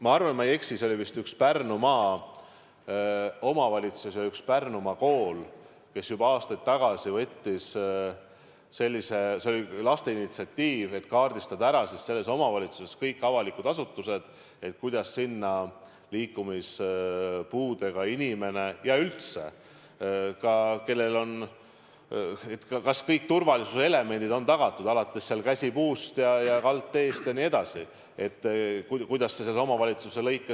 Ma arvan, et ma ei eksi, et see oli vist üks Pärnumaa omavalitsusi ja üks Pärnumaa koole, kes juba aastaid tagasi – see oli laste initsiatiiv – kaardistas ära selles omavalitsuses kõik avalikud asutused, et kuidas sinna liikumispuudega inimene saab ja üldse ka, kas kõik turvalisuse elemendid on tagatud, alates käsipuust ja kaldteest, et kuidas see selles omavalitsuses on.